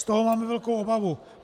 Z toho máme velkou obavu.